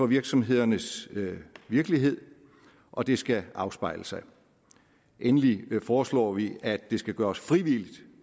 virksomhedernes virkelighed og det skal afspejle sig endelig foreslår vi at det skal gøres frivilligt